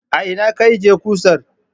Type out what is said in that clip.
A ina ka ajjiye kusar?